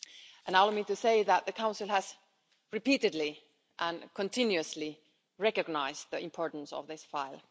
Allow me to say that the Council has repeatedly and continuously recognised the importance of this file.